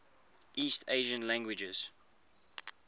east asian languages